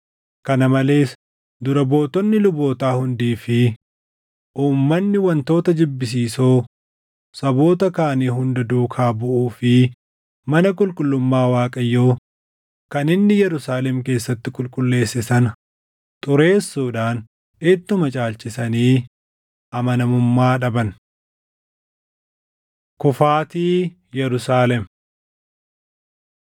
Kana malees dura buutonni lubootaa hundii fi uummanni wantoota jibbisiisoo saboota kaanii hunda duukaa buʼuu fi mana qulqullummaa Waaqayyoo kan inni Yerusaalem keessatti qulqulleesse sana xureessuudhaan ittuma caalchisanii amanamummaa dhaban. Kufaatii Yerusaalem 36:17‑20 kwf – 2Mt 25:1‑21; Erm 52:4‑27 36:22‑23 kwf – Izr 1:1‑3